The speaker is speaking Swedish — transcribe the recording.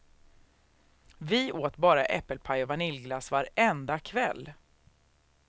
Vi åt bara äppelpaj och vaniljglass varenda kväll.